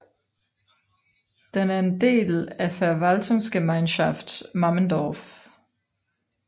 Den er en del af Verwaltungsgemeinschaft Mammendorf